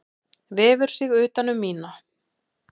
Vefur sig utan um mína.